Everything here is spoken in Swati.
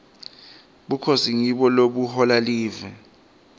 bukhosi ngibo lobuhola live